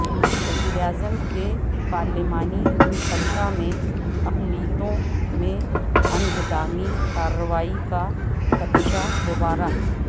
وزیراعظم کے پارلیمانی حلقہ میں اقلیتوں میں انہدامی کاروائی کاخدشہ دوبارہ